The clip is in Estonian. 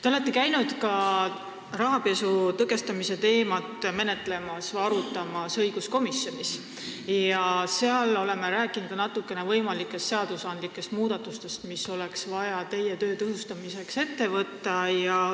Te olete käinud õiguskomisjonis ka rahapesu tõkestamise teemat arutamas ja seal oleme natuke rääkinud ka võimalikest seadusmuudatustest, mida oleks vaja ette võtta teie töö tõhustamiseks.